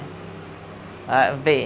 Ah, vê.